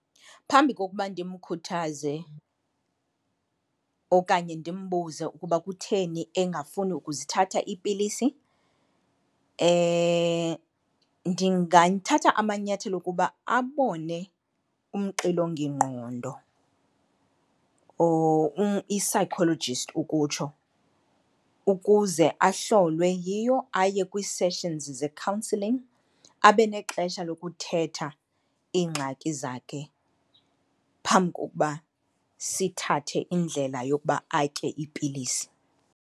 Phambi kokuba ndimkhuthaze okanye ndimbuze ukuba kutheni engafuni ukuzithatha iipilisi ndingathatha amanyathelo okuba abone umxilongingqondo or i-psychologist ukutsho, ukuze ahlolwe yiyo, aye kwiiseshinzi ze-counselling abe nexesha lokuthetha iingxaki zakhe phambi kokuba sithathe indlela yokuba atye iipilisi.